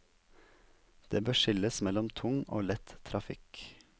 Det bør skilles mellom tung og lett trafikk.